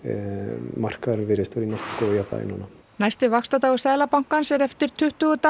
markaðurinn virðist vera í nokkuð góðu jafnvægi núna næsti vaxtadagur Seðlabankans er eftir tuttugu daga